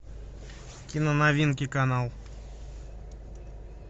киноновинки канал